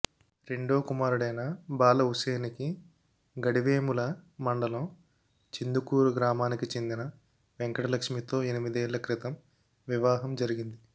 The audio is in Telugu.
రెండో కుమారుడైన బాల వుశేనికి గడివేముల మండలం చిందుకూరు గ్రామానికి చెందిన వెంకటలక్ష్మితో ఎనిమిదేళ్ల క్రితం వివాహం జరిగింది